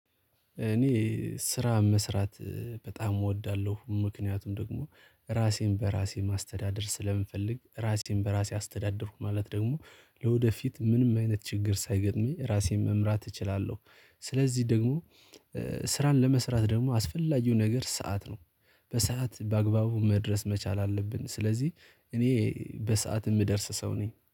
እኔ ስራ መስራት በጣም እወዳለሁ ምክንያቱም ደግሞ ራሴን በራሴ ማስተዳደር ስለምንፈልግ ራሴን በራሴ አስተዳደርኩ ማለት ደግሞ ለወደፊት ምንም አይነት ችግር ሳይገጥመኝ ራሴን መምራት እችላለሁ። ስለዚህ ደግሞ ስራን ለመስራት ደግሞ አስፈላጊው ነገር ሰዓት ነው። በሰአት በአግባቡ መድረስ መቻል አለብን ስለዚህ እኔ በሰአት የምደርስ ሰው ነኝ